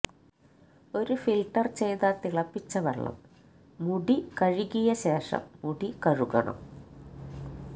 ഒരു ഫിൽട്ടർ ചെയ്ത തിളപ്പിച്ച വെള്ളം മുടി കഴുകിയ ശേഷം മുടി കഴുകണം